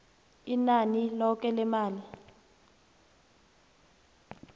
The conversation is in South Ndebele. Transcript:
inani loke lemali